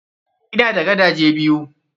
Ina da gadaje biyu.